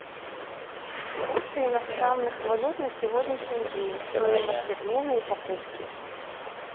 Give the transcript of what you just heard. курсы иностранных валют на сегодняшний день стоимость обмена и покупки